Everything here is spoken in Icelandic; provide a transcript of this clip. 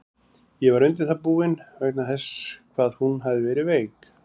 Ég var undir það búinn, vegna þess hvað hún hafði verið veik.